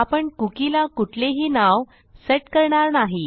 आपण कुकी ला कुठलेही नाव सेट करणार नाही